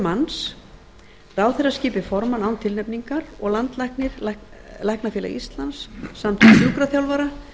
manns ráðherra skipi formann án tilnefningar og landlæknir læknafélag íslands samtök sjúkraþjálfara